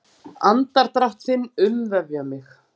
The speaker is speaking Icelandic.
Andardrátt þinn umvefja mig.